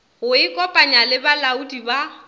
go ikopanya le balaodi ba